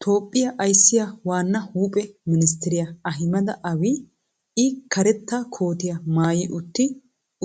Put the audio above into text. toophiya ayssiya waana huuphe ministeriya ahimeda aabiya. i karetta koottiya maayi utti